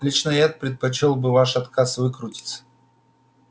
лично я предпочёл бы ваш отказ выкрутиться